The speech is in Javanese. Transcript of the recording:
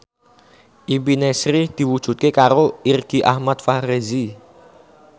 impine Sri diwujudke karo Irgi Ahmad Fahrezi